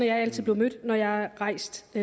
jeg altid blevet mødt når jeg har rejst